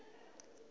na uri i do pfiswa